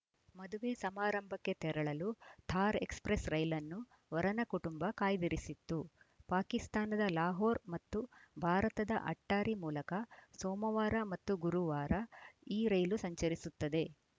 ಮದುವೆ ಸಮಾರಂಭಕ್ಕೆ ತೆರಳಲು ಥಾರ್‌ ಎಕ್ಸ್‌ಪ್ರೆಸ್‌ ರೈಲನ್ನು ವರನ ಕುಟುಂಬ ಕಾಯ್ದಿರಿಸಿತ್ತು ಪಾಕಿಸ್ತಾನದ ಲಾಹೋರ್‌ ಮತ್ತು ಭಾರತದ ಅಟ್ಟಾರಿ ಮೂಲಕ ಸೋಮವಾರ ಮತ್ತು ಗುರುವಾರ ಈ ರೈಲು ಸಂಚರಿಸುತ್ತದೆ